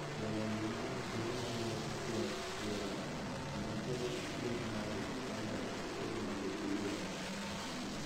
Jolony di mang'eny keto maino mokuongo e fwenyo gima kelo achiendnade moloyo achiedhnade giwegi.